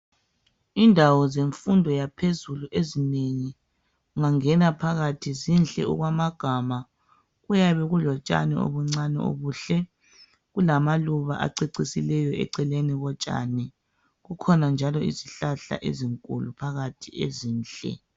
Indawo zemfundo yaphezulu ezinengi ungangena phakathi zinhle okwamagama. Kuyabe kulotshani obuncane obuhle kulamaluba acecisileyo eceleni kotshani kukhona njalo izihlahla ezinkulu phakathi ezinhle.